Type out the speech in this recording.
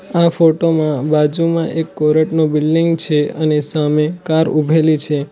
આ ફોટો માં બાજુમાં એક કોરટ નું બિલ્ડીંગ છે અને સામે કાર ઊભેલી છે.